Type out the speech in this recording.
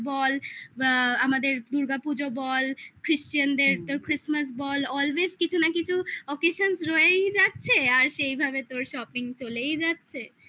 তো সেই ক্ষেত্রে তো ঈদ বল বা আমাদের দুর্গাপুজো বল তোর christmas বল always কিছু না কিছু occasions রয়েই যাচ্ছে আর সেই ভাবে তোর shopping চলেই যাচ্ছে